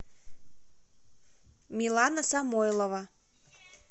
милана самойлова